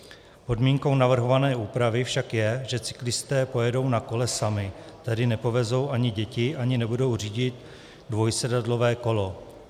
Podmínkou navrhované úpravy však je, že cyklisté pojedou na kole sami, tedy nepovedou ani děti, ani nebudou řídit dvojsedadlové kolo.